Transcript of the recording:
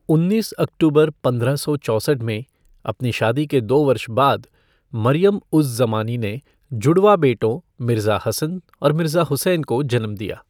उन्नीस अक्टूबर पंद्रह सौ चौसठ में, अपनी शादी के दो वर्ष बाद, मरियम उज़ ज़मानी ने जुड़वाँ बेटों, मिर्ज़ा हसन और मिर्ज़ा हुसैन को जन्म दिया।